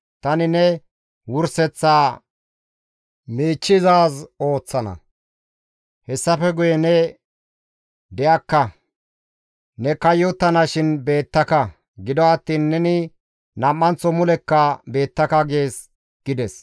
Tani ne wurseththaa miichchizaaz ooththana; hessafe guye ne de7akka; ne koyettanashin beettaka; gido attiin neni nam7anththo mulekka beettaka› gees» gides.